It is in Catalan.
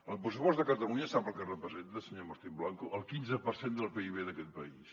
el pressupost de catalunya sap el que representa senyor martín blanco el quinze per cent del pib d’aquest país